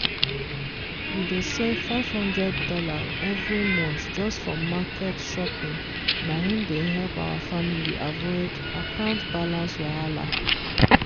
we dey save five hundred dollars every month just for market shopping na im dey help our family avoid account balance wahala.